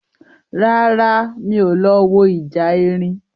Rárá, mi ò lọ wo ìjà erin